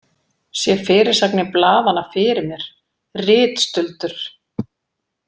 Sé fyrirsagnir blaðanna fyrir mér: Ritstuldur!